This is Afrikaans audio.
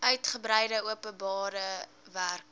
uitgebreide openbare werke